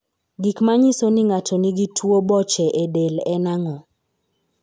Gik manyiso ni ng'ato nigi tuwo boche e del en ang'o?